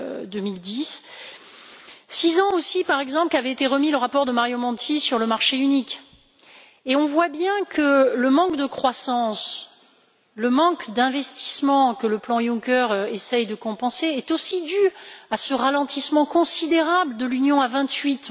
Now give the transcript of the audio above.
2010. Cela fait six ans aussi, par exemple, qu'avait été remis le rapport de Mario Monti sur le marché unique, et on voit bien que le manque de croissance, le manque d'investissement que le plan Juncker essaie de compenser sont aussi dus à ce ralentissement considérable de l'Union à vingt huit.